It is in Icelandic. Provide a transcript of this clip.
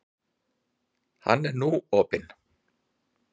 Hann er nú opinn.